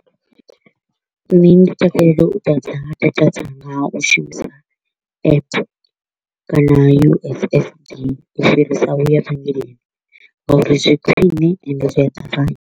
Nṋe ndi takalela u ḓadza data dzanga nga u shumisa app kana U_S_S_D u fhirisa u ya vhengeleni nga uri zwi khwine and zwi a ṱavhanya.